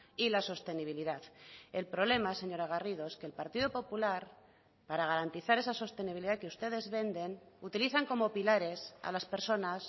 y la sostenibilidad el problema señora garrido es que el partido popular para garantizar esa sostenibilidad que ustedes venden utilizan como pilares a las personas